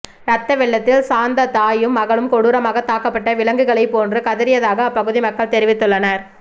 ரத்த வெள்ளத்தில் சாந்த தாயும் மகளும் கொடூரமாக தாக்கப்பட்ட விலங்குகளை போன்று கதறியதாக அப்பகுதி மக்கள் தெரிவித்துள்ளனர்